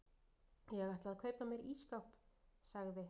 Ég ætla að kaupa mér ísskáp sagði